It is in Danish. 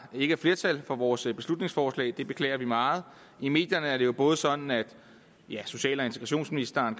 ikke er flertal for vores beslutningsforslag det beklager vi meget i medierne er det jo sådan at social og integrationsministeren